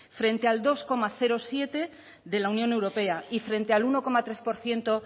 frente al dos coma siete por ciento de la unión europea y frente al uno coma tres por ciento